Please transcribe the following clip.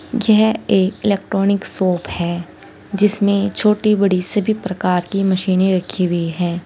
यह एक electronic shop है जिसमें छोटी बड़ी सभी प्रकार की मशीनें रखी हुई है।